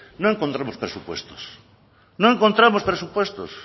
no encontramos presupuestos no encontramos presupuestos